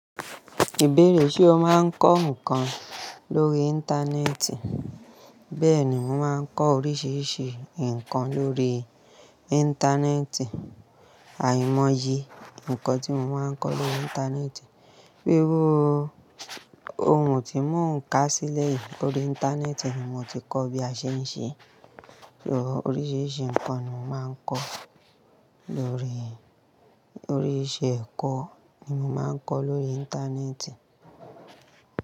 Ìbéèrè ṣe o máa ń kọ́ nnkan lórí Íńtánẹ́ẹ̀tì? Bẹ́ẹ̀ni, mo máa ń kọ́ oríṣiríṣi nǹkan lórí Íńtánẹ́ẹ̀tì. Àìmọye ǹkan tí mo máa ń kọ́ lórí Íńtánẹ́ẹ̀tì. Iru ohun tí mò ń kà sílẹ̀ yìí lórí Íńtánẹ́ẹ̀tì ni mo ti kọ́ bí a ṣe ń ṣe. So oríṣiríṣi nǹkan ni mo máa ń kọ́ lórí, oríṣi ẹ̀kọ́ ni mo máa ń kọ́ lórí Íńtánẹ́ẹ̀tì.